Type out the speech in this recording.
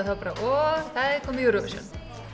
af og það er komið Eurovision